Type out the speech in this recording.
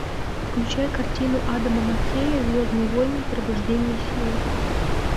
включай картину адама маккея звездные войны пробуждение силы